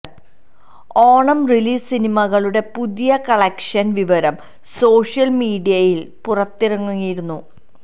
Onam release സിനിമകളുടെ പുതിയ collection വിവരം സോഷ്യല് മീഡിയയില് പുറത്തിറങ്ങിയിരുന്നു